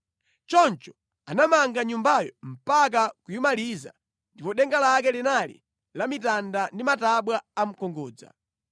Choncho anamanga Nyumbayo mpaka kuyimaliza ndipo denga lake linali la mitanda ndi matabwa a mkungudza.